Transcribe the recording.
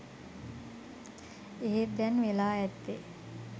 එහෙත් දැන් වෙලා ඇත්තේ